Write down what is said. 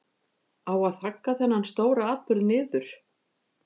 Á að þagga þennan stóra atburð niður?